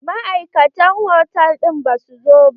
Ma'aikatan hotal ɗin ba su zo ba.